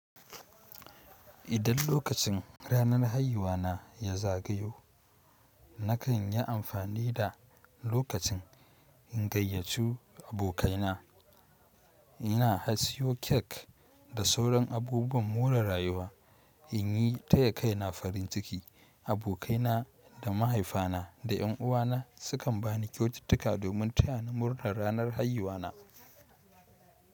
Idan lokacin ranar haihuwa na ya zagayo, na kan yi amfani da lokacin in gayyaci abokaina. Na siyo cake da sauran abubuwan more rayuwa in yi taya kaina farin ciki. Abokai na da mahaifa na da yan uwana su kan ba ni kyaututtuka domin taya ni murnar ranar haihuwa na.